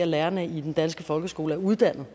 lærerne i den danske folkeskole er uddannede